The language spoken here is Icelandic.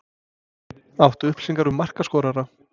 Áttu upplýsingar um markaskorara?